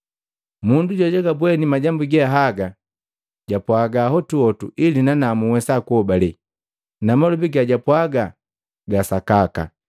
Mundu jojagabweni majambu ge haga ndi jojapwaaga hotuhotu ili nanamu nhwesa kuhobale, na malobi gajapwaaga ga sakaka.